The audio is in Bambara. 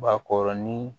Bakɔrɔnin